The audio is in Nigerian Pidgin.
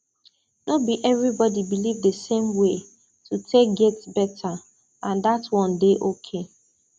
no be everybody believe the same way to take get better and dat one dey okay